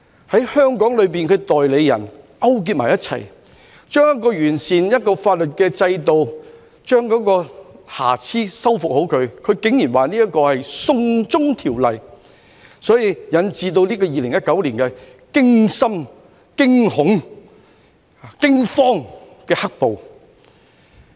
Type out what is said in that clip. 在香港境內的代理人勾結一起，竟然把旨在完善法律制度、修復瑕疵的條例，說成是"送中"條例，所以引致2019年驚心、驚恐、驚慌的"黑暴"。